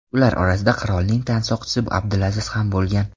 Ular orasida qirolning tansoqchisi Abdulaziz ham bo‘lgan.